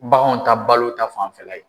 Baganw ta balo ta fanfɛla ye.